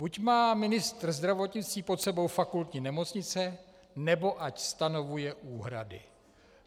Buď má ministr zdravotnictví pod sebou fakultní nemocnice, nebo ať stanovuje úhrady.